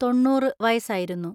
തൊണ്ണൂറ് വയസായിരുന്നു.